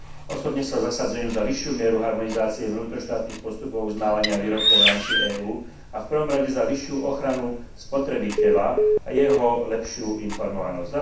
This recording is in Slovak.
Osobne sa zasadzujem za vyššiu mieru harmonizácie vnútroštátnych postupov uznávania výrobkov v rámci EÚ a v prvom rade za vyššiu ochranu spotrebiteľa a jeho lepšiu informovanosť.